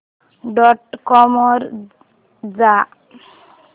dot com वर जा